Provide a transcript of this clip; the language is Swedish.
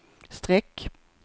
streck